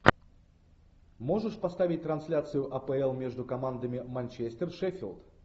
можешь поставить трансляцию апл между командами манчестер шеффилд